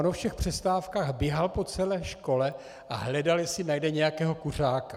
On o všech přestávkách běhal po celé škole a hledal, jestli najde nějakého kuřáka.